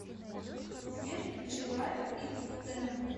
сбер включи лайк ит зена